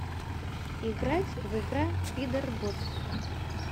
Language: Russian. играть в игра пидорбот